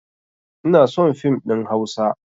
Inason fim ɗin hausa